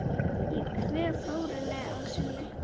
Ég kveð Þórunni að sinni.